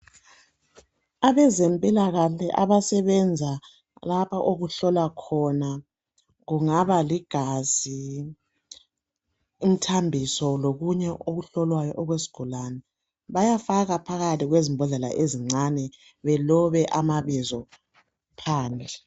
Abezempilakahle abasebenza lapha okuhlolwa khona kungaba ligazi, umthambiso lokunye okuhlolwayo okwezigulane bayafaka phakathi kwezimbodlela ezincane belobe amabizo phandle.